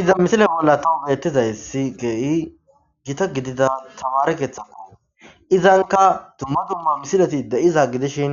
Iza misile bolla tahu beetizay si geei gita gidida taware keeththakko izanka dumma dumma misileti de7iza gidishin